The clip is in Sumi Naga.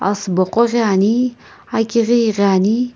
asubo qo ghi ani akighi ighiani.